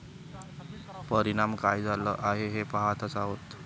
परिणाम काय झाला आहे हे पहातच आहोत.